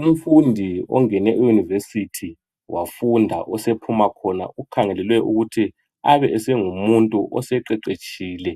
umfundi ongene e university wafunda osephuma khona ukhangelelwe ukuthi abe esengumuntu oseqeqetshile